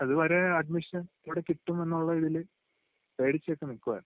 അതുവരെ അഡ്മിഷൻ എവിടെ കിട്ടുമെന്നുള്ള ഇതില് പേടിച്ചൊക്കെ നിൽക്കുവായിരുന്ന്..